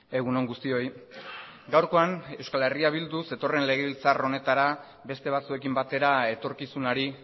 egun on guztioi gaurkoan euskal herria bildu zetorren legebiltzar honetara beste batzuekin batera etorkizunari